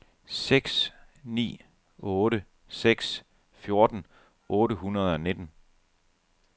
seks ni otte seks fjorten otte hundrede og nitten